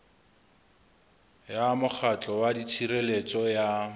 ya mokgatlo wa tshireletso ya